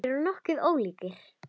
Þeir voru nokkuð ólíkir.